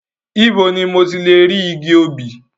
Ibo ni mo tilè rí igi obì?